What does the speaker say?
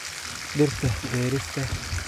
Dhirta beerista.